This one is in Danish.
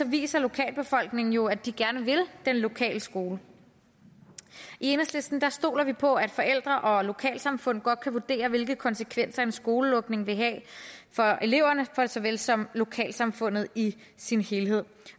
viser lokalbefolkningen jo at de gerne vil den lokale skole i enhedslisten stoler vi på at forældre og lokalsamfund godt kan vurdere hvilke konsekvenser en skolelukning vil have for eleverne såvel som lokalsamfundet i sin helhed